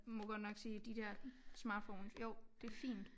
Må godt nok sige de der smartphones jo det fint